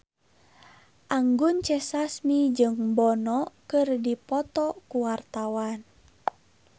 Anggun C. Sasmi jeung Bono keur dipoto ku wartawan